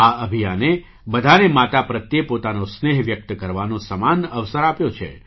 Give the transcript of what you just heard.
આ અભિયાને બધાને માતા પ્રત્યે પોતાનો સ્નેહ વ્યક્ત કરવાનો સમાન અવસર આપ્યો છે